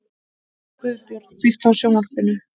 Guðbjörn, kveiktu á sjónvarpinu.